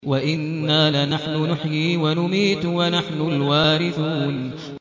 وَإِنَّا لَنَحْنُ نُحْيِي وَنُمِيتُ وَنَحْنُ الْوَارِثُونَ